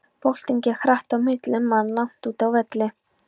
Boltinn gekk hratt á milli manna langt úti á velli.